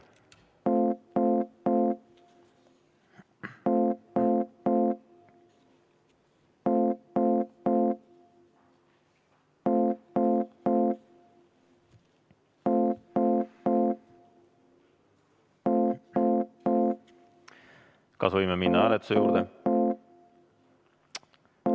Kas võime minna hääletuse juurde?